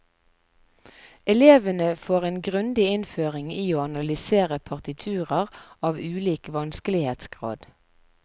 Elevene får en grundig innføring i å analysere partiturer av ulik vanskelighetsgrad.